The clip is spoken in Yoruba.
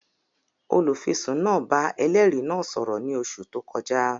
Olùfisùn náà bá ẹlẹ́rìí náà sọ̀rọ̀ ní oṣù tó kọjá